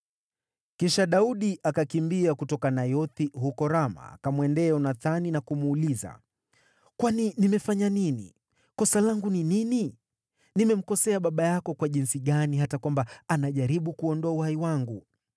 Kisha Daudi akakimbia kutoka Nayothi huko Rama akamwendea Yonathani na kumuuliza, “Kwani nimefanya nini? Kosa langu ni nini? Nimemkosea baba yako kwa jinsi gani, hata kwamba anajaribu kuuondoa uhai wangu?”